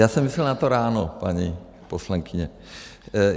Já jsem myslel na to ráno, paní poslankyně.